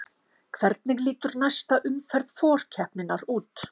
Hvernig lítur næsta umferð forkeppninnar út?